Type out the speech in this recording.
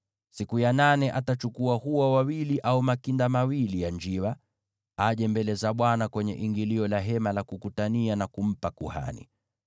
Siku ya nane, atachukua hua wawili au makinda mawili ya njiwa, aje mbele za Bwana kwenye ingilio la Hema la Kukutania, na kumpa kuhani.